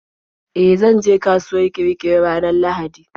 E, zanje kasuwar Kirikiri ranar Lahadi.